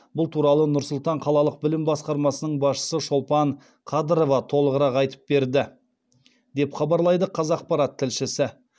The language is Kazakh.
бұл туралы нұр сұлтан қалалық білім басқармасының басшысы шолпан қадырова толығырақ айтып берді деп хабарлайды қазақпарат тілшісі